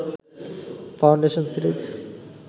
foundation series